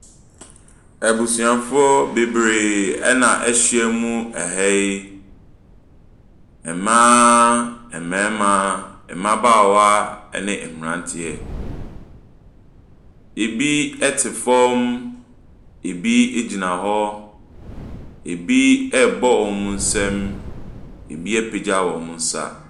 Abusuafoɔ bebree na ahyia mu wɔ ha yi, mmaaaa, mmarimaaa, mmabaawaaa, ne mmeranteɛ. Ɛbi te fam, ɛbi gyina hɔ, ɛbi rebɔ wɔn nsam, ɛbi apagya wɔn nsa.